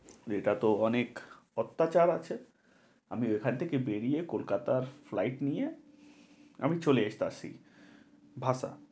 এটাতো অনেক অত্যাচার আছে, আমি এখান থেকে বেরিয়ে কলকাতার flight নিয়ে আমি চলে যাইতাছি।